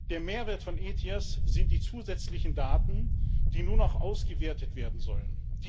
Der Mehrwert von ETIAS sind die zusätzlichen Daten, die nun auch ausgewertet werden sollen.